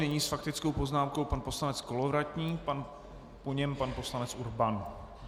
Nyní s faktickou poznámkou pan poslanec Kolovratník, po něm pan poslanec Urban.